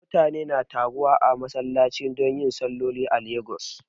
Mutane na taruwa a masallachi don yin salloli a Lagos